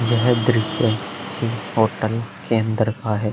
यह दृश्य किसी होटल के अंदर का है।